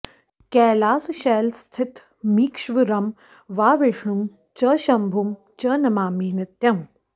कैलासशैलस्थितमीश्वरं वा विष्णुं च शम्भुं च नमामि नित्यम्